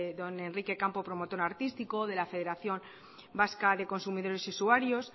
don enrique campo promotor artístico de la federación vasca de consumidores y usuarios